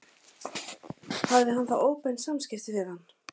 Hafði hann þá óbein samskipti við hann?